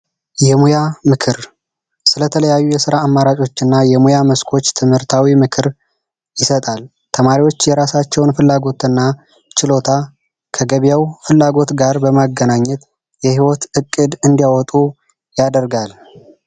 የሙያ ምክር ስለተለያዩ የስራ አማራጮችና የሙያ መስኮች ትምህርታዊ ምክር ይሰጣል። ተማሪዎች የራሳቸውን ፍላጎትና ችሎታ ከገበያው ፍላጎት ጋር በማገናኘት የህይወት ዕቅድ እንዲያወጡ ያደርጋል።